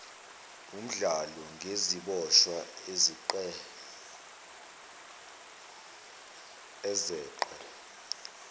womdlalo ngeziboshwa ezeqe